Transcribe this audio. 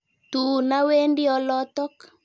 Tuun awendi olotok.